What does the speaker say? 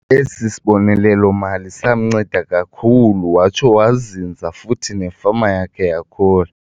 Esi sibonelelo-mali samnceda kakhulu watsho wazinza futhi nefama yakhe yakhula.